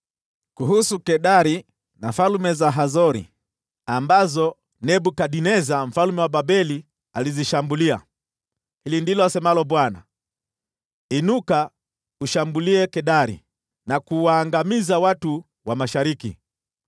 Kuhusu Kedari na falme za Hazori, ambazo Nebukadneza mfalme wa Babeli alizishambulia: Hili ndilo asemalo Bwana : “Inuka, ushambulie Kedari na kuwaangamiza watu wa mashariki.